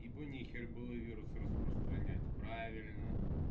ибо нехер было вирус распространять правильно